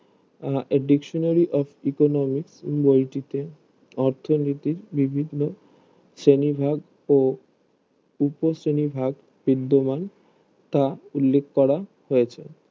ah the dictionary of economy বইটিতে অর্থনীতির বিভিন্ন শ্রেণীভাগ ও উপশ্রেণীভাগ বিন্দমান তাও উল্লেখ করা হয়েছে